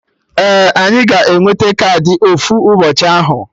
Ee, anyị ga-enwete kaadị ofu ụbọchị ahụ